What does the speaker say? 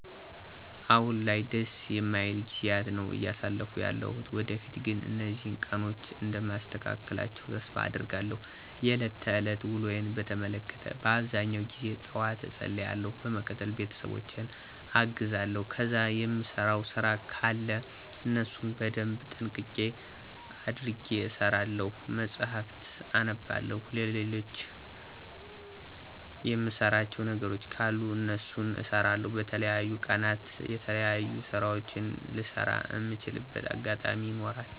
አሁን ላይ ደስ የማይል ጊዜያት ነው አያሳለፍኩ ያለሁት። ወደፊት ግን እነዚህን ቀኖች እንደማስተካክላቸው ተስፋ አደርጋለሁ። የለት ተለት ውሎየን በተመለከተ በአብዛኛው ጊዜ ጠዋት እፀልያለሁ በመቀጠል ቤተሰብ አግዛለሁ ከዛ የምሰራው ስራ ከለ እነሱን በደንብ ጥንቅቅ አድርጌ እሰራለሁ፣ መጽሀፍት አነባለሁ፣ ልሎችም የምሰራቸው ነገሮች ካሉ እነሱን እሰራለሁ። በተለያዩ ቀናት የተለያዩ ስራወችን ልሰራ እምችልበት አጋጣሚ ይኖራል።